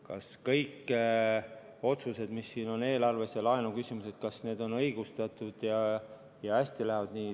Kas kõik otsused, mis on siin eelarves, ja laenuküsimused on õigustatud ja lähevad hästi?